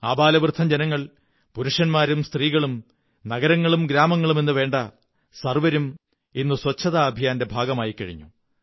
ആബാലവൃദ്ധം ജനങ്ങൾപുരുഷന്മാരും സ്ത്രീകളും നഗരങ്ങളം ഗ്രാമങ്ങളും എന്നുവേണ്ട സര്വ്വംരും ഇന്ന് ശുചിത്വ ദൈത്യത്തിന്റെ ഭാഗമായിക്കഴിഞ്ഞു